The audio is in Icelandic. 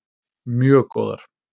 Mjög góðar.